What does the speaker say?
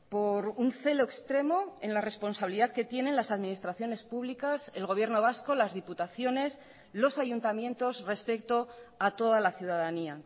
por un celo extremo en la responsabilidad que tienen las administraciones públicas el gobierno vasco las diputaciones los ayuntamientos respecto a toda la ciudadanía